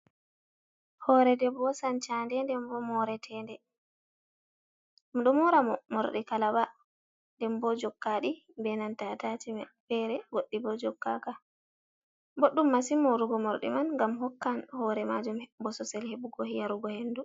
Hore debbo sancande nden bo moretede. Ɗum ɗo mora morɗi kalaba nden bo jokkaɗi be nanta attachmen. Fere goɗɗi bo jokkaka. Boɗɗum masin morugo morɗi man ngam hokkan hore majum bososel heɓugo yarugo hendu.